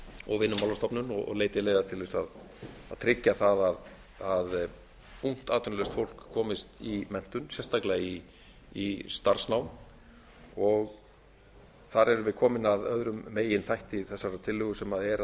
og vinnumálastofnun og leiti leiða til að tryggja það að ungt atvinnulaust fólk komist í menntun sérstaklega í starfsnám þar erum við komin að öðrum meginþætti þessarar tillögu sem er